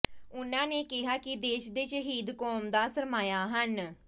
ਉਨ੍ਹਾਂ ਨੇ ਕਿਹਾ ਕਿ ਦੇਸ਼ ਦੇ ਸ਼ਹੀਦ ਕੌਮ ਦਾ ਸਰਮਾਇਆ ਹਨ